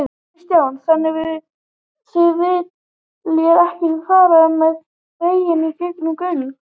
Kristján: Þannig þið viljið ekki fara með veginn í gegnum göng?